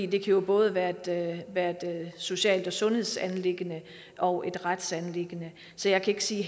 kan jo både være et social og sundhedsanliggende og et retsanliggende så jeg kan ikke sige